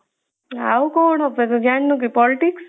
ଆଉ କଣ ତତେ ଜାଣିନୁ କି politics